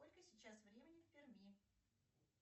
сколько сейчас времени в перми